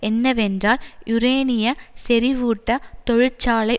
என்னவென்றால் யூரேனிய செறிவூட்ட தொழிற்சாலை